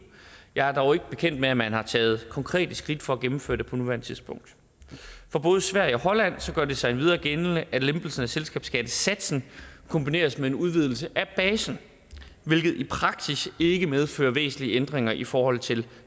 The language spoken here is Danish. jeg er dog ikke bekendt med at man har taget konkrete skridt for at gennemføre det på nuværende tidspunkt for både sverige og holland gør det sig endvidere gældende at lempelsen af selskabsskattesatsen kombineres med en udvidelse af basen hvilket i praksis ikke medfører væsentlige ændringer i forhold til